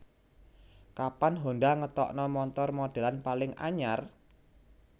Kapan Honda ngetokno montor modelan paling anyar?